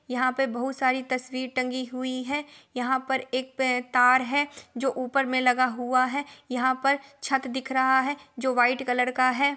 यहाँ पे बहुत सारी तस्वीर टंगी हुई है| यहाँ पे एक तार है जो ऊपर में लगा हूआ है| यहाँ पर छत दिख रहा है जो व्हाइट कलर का है।